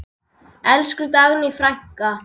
Elsku Dagný frænka.